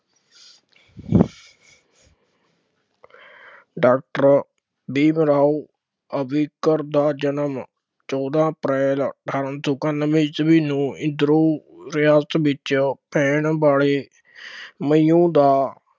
doctor Bhim Rao Ambedkar ਦਾ ਜਨਮ ਚੋਦਾਂ ਅਪ੍ਰੈਲ ਅਠਾਰਾਂ ਸੌ ਇਕਾਨਵੇਂ ਈਸਵੀ ਨੂੰ ਰਿਆਸਤ ਵਿੱਚ ਪੈਣ ਵਾਲੇ ਮਹਾਓਂ ਦਾ